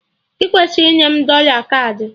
Ị kwesịrị inye m dọla kaadị!